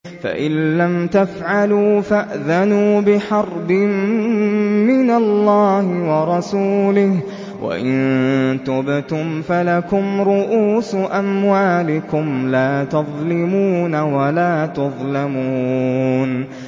فَإِن لَّمْ تَفْعَلُوا فَأْذَنُوا بِحَرْبٍ مِّنَ اللَّهِ وَرَسُولِهِ ۖ وَإِن تُبْتُمْ فَلَكُمْ رُءُوسُ أَمْوَالِكُمْ لَا تَظْلِمُونَ وَلَا تُظْلَمُونَ